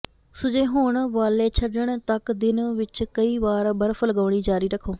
ਸੁੱਜੇਹੋਣ ਵਾਲੇਛੱਡਣ ਤੱਕ ਦਿਨ ਵਿੱਚ ਕਈ ਵਾਰ ਬਰਫ ਲਗਾਉਣੀ ਜਾਰੀ ਰੱਖੋ